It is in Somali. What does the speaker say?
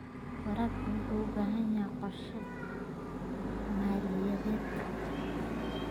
Waraabka wuxuu u baahan yahay qorshe maaliyadeed.